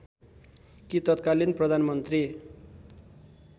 कि तत्कालीन प्रधानमन्त्री